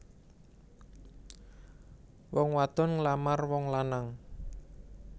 Wong wadon nglamar wong lanang